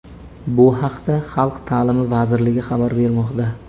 Bu haqda Xalq ta’limi vazirligi xabar bermoqda .